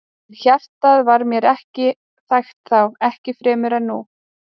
En hjartað var mér ekki þægt þá, ekki fremur en nú.